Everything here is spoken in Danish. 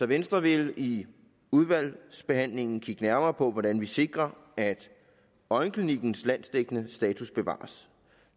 venstre vil i udvalgsbehandlingen kigge nærmere på hvordan vi sikrer at øjenklinikkens landsdækkende status bevares